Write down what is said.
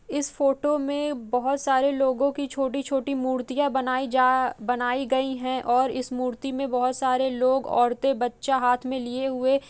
इस फोटो में बहोत सारे लोगों की छोटी छोटी मूर्तियाँ बनायीं जा बनायीं गई हैं और इस मूर्ति में बहोत सारे लोग औरते बच्चा हाथ में लिए हुए --